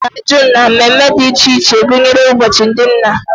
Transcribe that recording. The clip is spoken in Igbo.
Ejikọtara June na mmemme dị iche iche gụnyere ụbọchị ndị nna